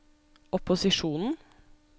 opposisjonen